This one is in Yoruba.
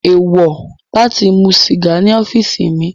Eewọ lati mu siga ni ọfiisi mi